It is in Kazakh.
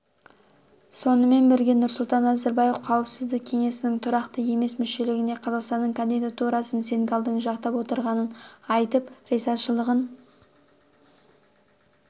сонымен бірге нұрсұлтан назарбаев қауіпсіздік кеңесінің тұрақты емес мүшелігіне қазақстанның кандидатурасын сенегалдың жақтап отырғанын айтып ризашылығын